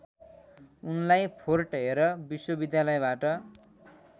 उनलाई Fort Hare विश्वविद्यालयबाट